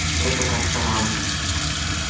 это как-то